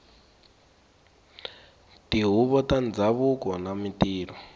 tihuvo ta ndhavuko na mintirho